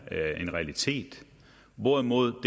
en realitet hvorimod